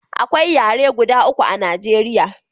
Akwai yare guda uku a Najeriya